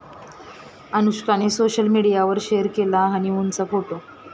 अनुष्कानं social मीडियावर share केला हनिमूनचा फोटो